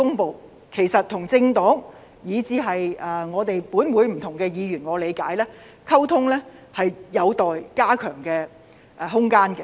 據我理解，政府與政黨以至立法會的不同議員的溝通上，都有加強的空間。